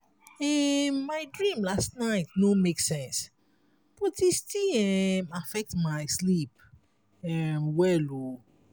um my dream last night no make sense but e still um affect my sleep um well.